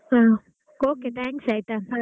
ಹಾ okay thanks ಆಯ್ತಾ.